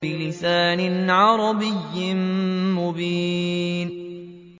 بِلِسَانٍ عَرَبِيٍّ مُّبِينٍ